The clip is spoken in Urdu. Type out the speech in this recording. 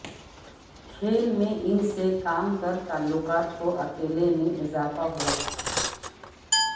کھیل میں ان سے کام کر تعلقات کو اکیلے میں اضافہ ہوا